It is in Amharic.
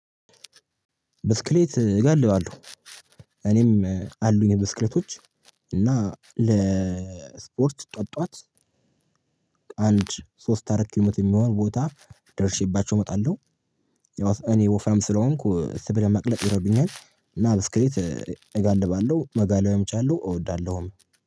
ብስክሌት እገልባለሁ እኔም አሉኝ ብስክሌቶች እና ለስፖርት ጠዋት ጠዋት አንድ ሶስት አራት ኪሎ ሜትር የሚሆን ቦታ ደርሼባቸው እወጣለሁ። እኔ ወፈራም ስለሆንኩ ስብ ለማቅለጥ ይረዱኛል እና ብስክሌት እጋልባለሁ መጋለብም እችላለሁ እወዳለሁም።